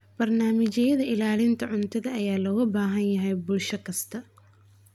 Barnaamijyada ilaalinta cuntada ayaa looga baahan yahay bulsho kasta.